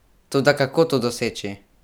Toda kako to doseči?